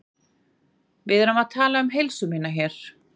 Við erum að tala um heilsu mína hér.